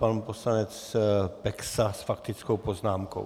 Pan poslanec Peksa s faktickou poznámkou.